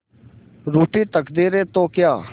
रूठी तकदीरें तो क्या